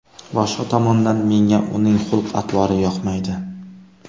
Boshqa tomondan, menga uning xulq-atvori yoqmaydi.